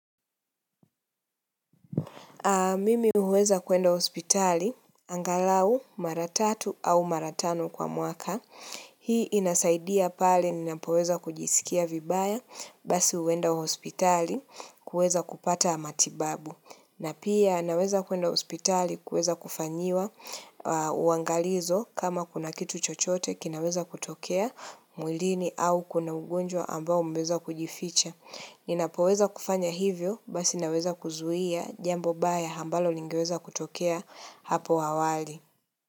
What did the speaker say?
Mimi huweza kuenda hospitali angalau mara tatu au mara tano kwa mwaka. Hii inasaidia pale ninapoweza kujisikia vibaya basi huenda hospitali kuweza kupata matibabu. Na pia naweza kuenda hospitali, kuweza kufanyiwa, uangalizo kama kuna kitu chochote kinaweza kutokea mwilini au kuna ugonjwa ambao umeweza kujificha. Ninapoweza kufanya hivyo, basi naweza kuzuia jambo baya ambalo lingeweza kutokea hapo hawali.